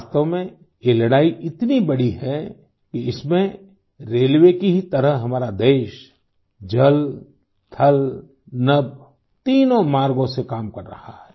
वास्तव में ये लड़ाई इतनी बड़ी है कि इसमें रेलवे की ही तरह हमारा देश जल थल नभ तीनों मार्गों से काम कर रहा है